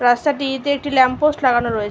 রাস্তাটিতে একটি lamp post লাগানো রয়ে--